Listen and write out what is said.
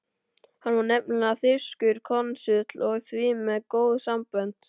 Hann var nefnilega þýskur konsúll og því með góð sambönd.